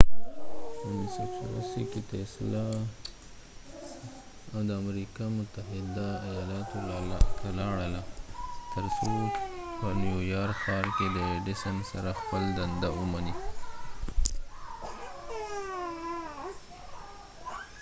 په 1884 کې، تیسلا tesla د امریکا متحده ایالاتو ته لاړله تر څو په نیویارک ښار کې د ایډیسن edison سره خپل دنده ومني